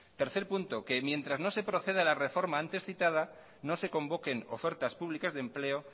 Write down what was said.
tercer punto que mientras no se proceda a la reforma antes citada no se convoquen ofertas públicas de empleo